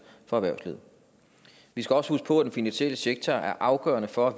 for erhvervslivet vi skal også huske på at den finansielle sektor er afgørende for at